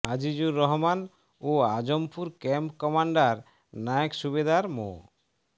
আজিজুর রহমান ও Azampur camp commander Naik Subedar মো